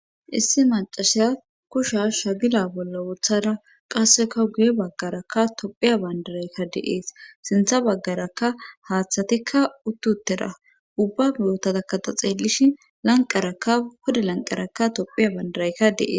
issi macashiya kushas shagila bolla wothara qasseka guye baggarakka tophiya bandiraykka de'ees sintha baggarakka haaththatikka uttuttera ubba biyootatakkata xeellishi lanqarakka pude lanqaraka tophiya bandiraykka de'es